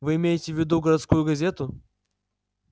вы имеете в виду городскую газету